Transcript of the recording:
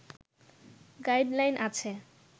guide line আছে